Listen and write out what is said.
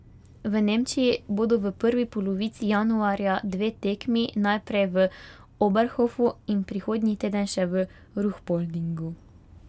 V Nemčiji bodo v prvi polovici januarja dve tekmi, najprej v Oberhofu in prihodnji teden še v Ruhpoldingu.